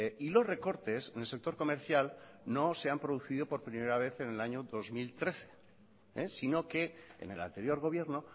y los recortes en el sector comercial no se han producido por primera vez en el año dos mil trece si no que en el anterior gobierno